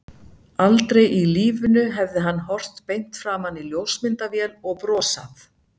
Aldrei í lífinu hefði hann horft beint framan í ljósmyndavél og brosað.